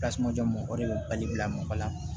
Tasuma jɔ mɔgɔ de bɛ bali bila mɔgɔ la